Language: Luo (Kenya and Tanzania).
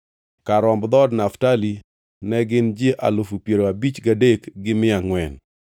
Kar romb dhood Naftali ne gin ji alufu piero abich gadek gi mia angʼwen (53,400).